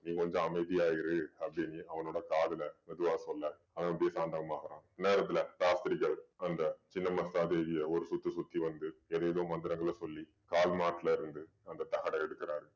நீ கொஞ்சம் அமைதியா இரு அப்படின்னு அவனோட காதுல மெதுவா சொல்ல அவன் அப்படியே சாந்தமாகறான் அந்நேரத்துல சாஸ்திரிகள் அந்த சின்ன மஸ்தா தேவிய ஒரு சுத்து சுத்தி வந்து ஏதேதோ மந்திரங்களை சொல்லி கால்மாட்டுல இருந்து அந்த தகடை எடுக்கிறார்